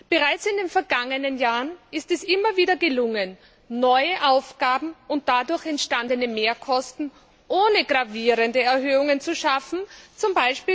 Bereits in den vergangenen Jahren ist es immer wieder gelungen, neue Aufgaben und dadurch entstandene Mehrkosten ohne gravierende Erhöhungen bewältigen, z.